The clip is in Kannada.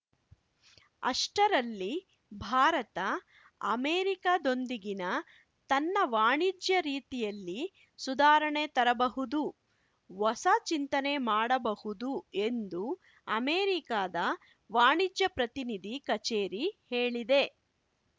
ಅಷ್ಟರಲ್ಲಿ ಭಾರತ ಅಮೆರಿಕಾದೊಂದಿಗಿನ ತನ್ನ ವಾಣಿಜ್ಯ ರೀತಿಯಲ್ಲಿ ಸುಧಾರಣೆ ತರಬಹುದು ಹೊಸಚಿಂತನೆ ಮಾಡಬಹುದು ಎಂದು ಅಮೆರಿಕಾದ ವಾಣಿಜ್ಯ ಪ್ರತಿನಿಧಿ ಕಚೇರಿ ಹೇಳಿದೆ